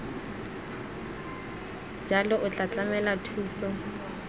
jalo o tla tlamela thuso